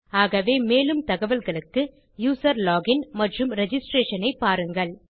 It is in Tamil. ஆகவே மேலும் தகவல்களுக்கு யூசர் லோகின் மற்றும் ரிஜிஸ்ட்ரேஷன் ஐ பாருங்கள்